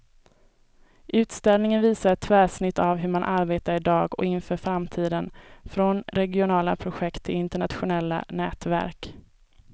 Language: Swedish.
Utställningen visar ett tvärsnitt av hur man arbetar i dag och inför framtiden, från regionala projekt till internationella nätverk.